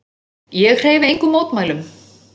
Ég hreyfi engum mótmælum.